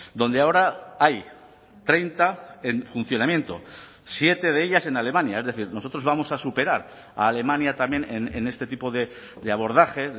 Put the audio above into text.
donde ahora hay treinta en funcionamiento siete de ellas en alemania es decir nosotros vamos a superar a alemania también en este tipo de abordaje